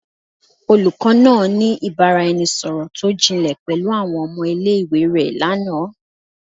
Olukọ naa ni ibaraẹnisọrọ to jinle pẹlu awọn ọmọ ile-iwe rẹ lana